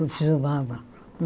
Continuava.